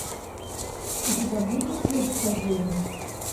у тебя будет флирт со зверем